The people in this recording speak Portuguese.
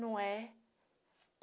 Não é?